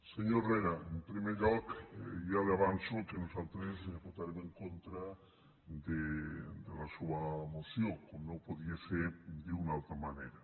senyor herrera en primer lloc ja li avanço que nosaltres votarem en contra de la seua moció com no podia ser d’una altra manera